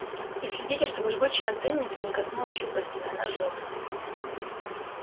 и следите чтобы жгучая антенница не коснулась щупальцами она жжётся